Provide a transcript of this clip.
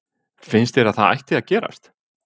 Finnst þér að það ætti að gerast?